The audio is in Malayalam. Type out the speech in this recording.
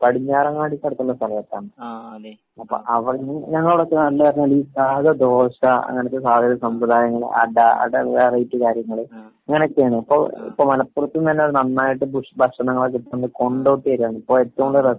പടിഞ്ഞാറങ്ങാടിക്കടുത്തുള്ള സ്ഥലത്താണ്. അപ്പൊ അവിടന്ന് ഞങ്ങളെ അവടെയൊക്കെ നല്ല സാദാ ദോശ അങ്ങനത്തെ പല സംവിധാനങ്ങള് അട അട വെറൈറ്റി കാര്യങ്ങള് . ഇങ്ങനെയൊക്കെയാണ്. ഇപ്പൊ ഇപ്പൊ മലപ്പുറത്തിന്നു തന്നെ അത് നന്നായിട്ട് ഫുഡ് ഭക്ഷണങ്ങളൊക്ക കിട്ടുന്നത് കൊണ്ടോട്ടിയിലാണ്. ആഹ് ഇപ്പൊ ഏറ്റവും കൂടുതല്